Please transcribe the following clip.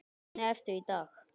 Hvernig ertu í dag?